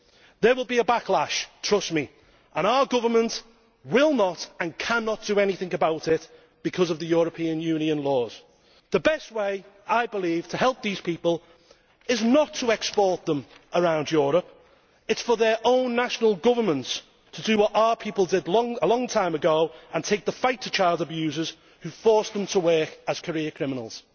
There will be a backlash, trust me, and our government will not and cannot do anything about it because of the European Union's laws. The best way, I believe, to help these people is not to export them round Europe it is for their own national governments to do what our people did a long time ago and take the fight to child abusers who force them to work as career criminals.